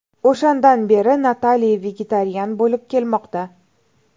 O‘shandan beri Natali vegetarian bo‘lib kelmoqda.